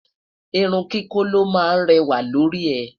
irún kíkọ ló má réwà lórí e